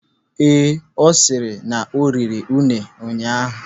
Ee, ọ sịrị na oriri une ụnyaahụ.